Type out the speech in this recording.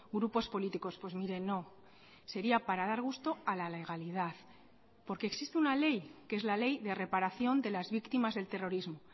grupos políticos pues mire no sería para dar gusto a la legalidad porque existe una ley que es la ley de reparación de las víctimas del terrorismo